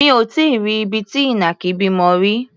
Mi ò tí í rí ibi tí ìnàkí bímọ rí.